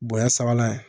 Bonɲɛ sabanan ye